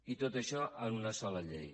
i tot això en una sola llei